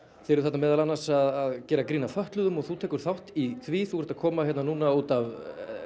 þið eruð þarna meðal annars að gera grín að fötluðum og þú tekur þátt í því þú ert að koma hérna núna út af